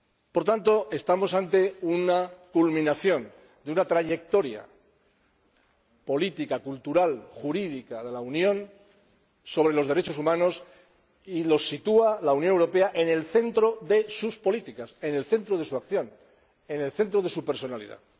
Por tanto, estamos ante la culminación de una trayectoria política, cultural y jurídica de la Unión sobre los derechos humanos, que la Unión sitúa en el centro de sus políticas, en el centro de su acción, en el centro de su personalidad.